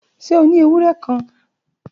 Ṣe o ni ewurẹ kan?